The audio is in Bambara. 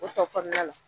O tɔ kɔnɔna la